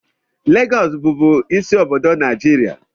Lagos bubu ịsị obodo Naijiria